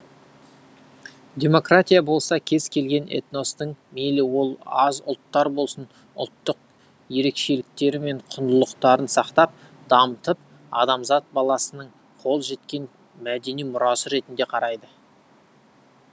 демократия болса кез келген этностың мейлі ол аз ұлттар болсын ұлттық ерекшеліктері мен құндылықтарын сақтап дамытып адамзат баласының қол жеткен мәдени мұрасы ретінде қарайды